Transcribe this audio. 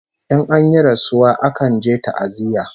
In an yi rasuwa akan je ta'aziyya